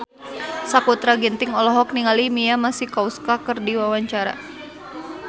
Sakutra Ginting olohok ningali Mia Masikowska keur diwawancara